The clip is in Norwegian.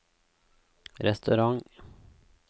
restaurant